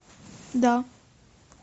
да